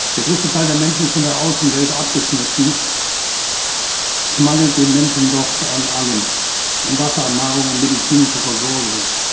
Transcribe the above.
Der größte Teil der Menschen ist von der Außenwelt abgeschnitten, es mangelt den Menschen dort an allem, an Wasser, an Nahrung, an medizinischer Versorgung.